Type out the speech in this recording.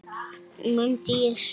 mundi ég segja.